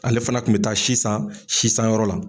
Ale fana kun mi taa sisan sisanyɔrɔ la.